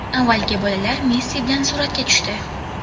Avvaliga bolalar Messi bilan suratga tushdi.